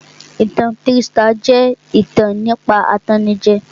Ìtan trístà jẹ́ ìtàn nípa atannijẹ